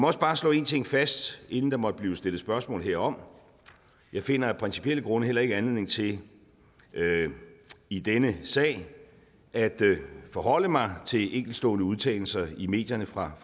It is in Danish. også bare slå én ting fast inden der måtte blive stillet spørgsmål herom jeg finder af principielle grunde heller ikke anledning til i denne sag at forholde mig til enkeltstående udtalelser i medierne fra